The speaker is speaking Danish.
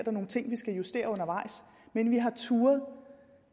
er nogle ting vi skal justere undervejs men vi har turdet